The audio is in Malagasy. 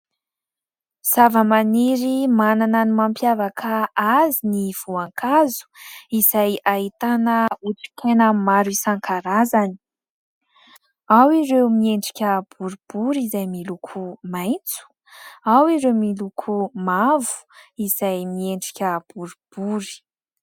Zavamariny manana ny mampiavaka azy ny voankazo izay ahitana otrikaina maro isan-karazany. Ao ireo miendrika boribory izay miloko maitso ; ao ireo miloko mavo izay miendrika boribory.